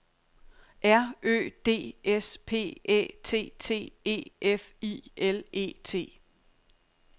R Ø D S P Æ T T E F I L E T